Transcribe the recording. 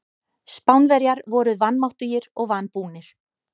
Spánverjar voru vanmáttugir og vanbúnir.